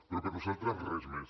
però per nosaltres res més